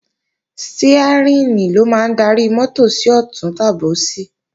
Stiárìn ló máa ń darí mọ́tò sí ọ̀tún tàbí òsì